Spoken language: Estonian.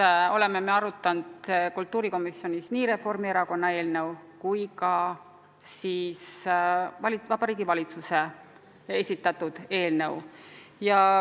Me oleme kultuurikomisjonis arutanud nii Reformierakonna eelnõu kui ka Vabariigi Valitsuse eelnõu.